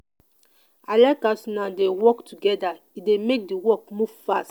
i like as una dey work togeda e dey make di work move fast.